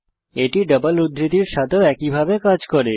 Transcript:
এটি ডাবল উদ্ধৃতির সাথেও একইভাবে কাজ করে